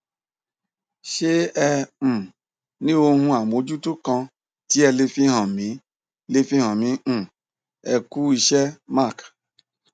ṣe e um ní ohun amojuto kan ti ẹ le fihan mi le fihan mi um ẹ ku um iṣẹ mark